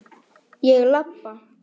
Fékk mér vænan teyg.